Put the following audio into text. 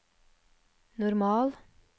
normal